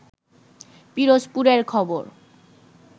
পিরোজপুরের খবর